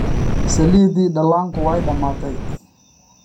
Saliiddii dhallaanku way dhammaatay.